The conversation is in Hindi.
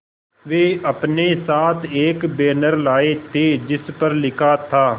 वे अपने साथ एक बैनर लाए थे जिस पर लिखा था